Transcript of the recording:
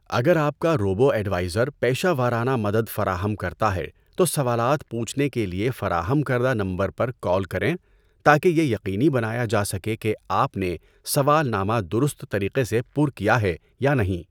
اگر آپ کا روبو ایڈوائزر پیشہ ورانہ مدد فراہم کرتا ہے تو سوالات پوچھنے کے لیے فراہم کردہ نمبر پر کال کریں تاکہ یہ یقینی بنایا جا سکے کہ آپ نے سوالنامہ درست طریقے سے پُر کیا ہے یا نہیں۔